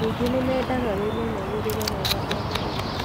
Ningĩ nĩ mendaga wĩmenyagĩrĩre wega o mũthenya.